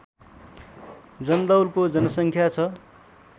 जन्दौलको जनसङ्ख्या छ